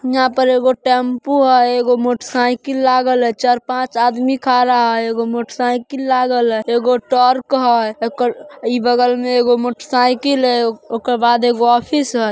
यहां पर एगो टेंपो हई एगो मोटरसाइकिल लागल है चार-पांच आदमी खारा है एगो मोटरसाइकिल लागल है एगो ट्रक है। ई बगल में एगो मोटरसाइकिल है ओकरा बाद एगो ऑफिस है।